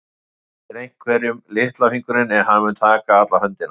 Þú réttir einhverjum litla fingurinn en hann mun taka alla höndina.